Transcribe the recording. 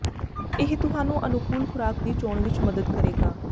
ਇਹ ਤੁਹਾਨੂੰ ਅਨੁਕੂਲ ਖੁਰਾਕ ਦੀ ਚੋਣ ਵਿੱਚ ਮਦਦ ਕਰੇਗਾ